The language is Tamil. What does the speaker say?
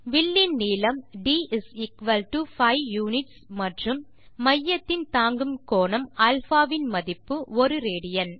வில்லின் நீளம் d5 யுனிட்ஸ் மற்றும் மையத்தின் தாங்கும் கோணம் α வின் மதிப்பு 1 ராட்